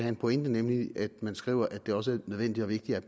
en pointe nemlig når man skriver at det også er nødvendigt og vigtigt at